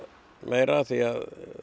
meira því að